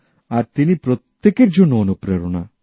আর তিনি প্রত্যেকের জন্য অনুপ্রেরণা